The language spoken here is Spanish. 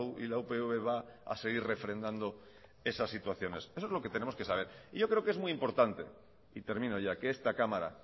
y la upv va a seguir refrendando esas situaciones eso es lo que tenemos que saber yo creo que es muy importante y termino ya que esta cámara